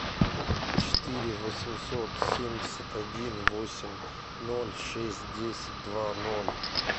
четыре восемьсот семьдесят один восемь ноль шесть десять два ноль